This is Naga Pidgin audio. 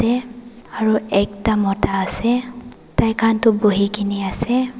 te aru ekta mota ase taikhan buhi kene ase.